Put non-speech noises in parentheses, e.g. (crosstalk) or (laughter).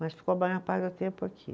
Mas ficou (unintelligible) do tempo aqui.